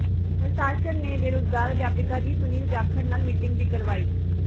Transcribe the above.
ਪ੍ਰਸ਼ਾਸਨ ਨੇ ਬੇਰੁਜ਼ਗਾਰ ਅਧਿਆਪਕਾਂ ਦੀ ਸੁਨੀਲ ਜਾਖੜ ਨਾਲ ਮੀਟਿੰਗ ਵੀ ਕਰਵਾਈ